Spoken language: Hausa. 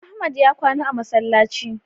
Ahmad ya kwana a masallaci